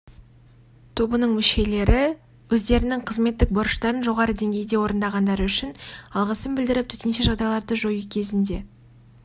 тобының мүшелеріне өздерінің қызметтік борыштарын жоғары деңгейде орындағандары үшін алғысын білдіріп төтенше жағдайларды жою кезінде